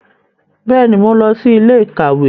Bẹẹni, Mo n lọ sí ilé-íkàwe